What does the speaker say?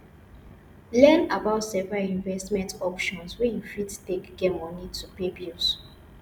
learn about several investment options wey you fit take get money to pay bills